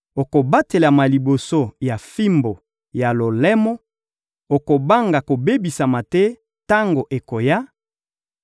Okobatelama liboso ya fimbu ya lolemo, okobanga kobebisama te tango ekoya;